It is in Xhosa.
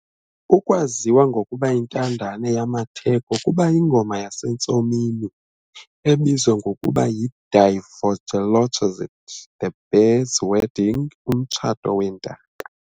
Ukwaziwa ngokubayintandane yamatheko kuba yi-ngoma yasentsomini ebizwa ngokuba yi"Die Vogelhochzeit", "The Birds' Wedding", "Umtshato weentaka".